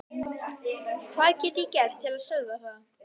Hvað get ég gert til að stöðva það?